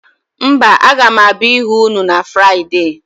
Mba, aga m abịa ịhụ ụnụ na Fraịde.